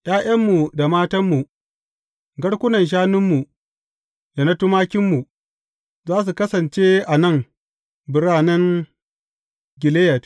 ’Ya’yanmu da matanmu, garkunan shanunmu da na tumakinmu, za su kasance a nan biranen Gileyad.